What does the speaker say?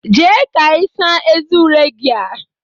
Jee ka ịsa eze ure gị a!